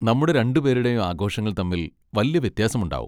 നമ്മുടെ രണ്ടുപേരുടെയും ആഘോഷങ്ങൾ തമ്മിൽ വല്ല്യ വ്യത്യാസമുണ്ടാവും.